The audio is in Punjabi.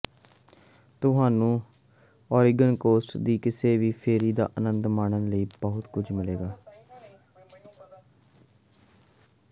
ਤੁਹਾਨੂੰ ਓਰੇਗਨ ਕੋਸਟ ਦੀ ਕਿਸੇ ਵੀ ਫੇਰੀ ਦਾ ਆਨੰਦ ਮਾਣਨ ਲਈ ਬਹੁਤ ਕੁਝ ਮਿਲੇਗਾ